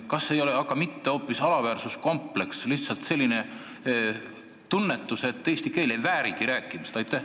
Kas see ei ole aga mitte hoopis alaväärsuskompleks, lihtsalt selline tunnetus, et eesti keel ei väärigi rääkimist?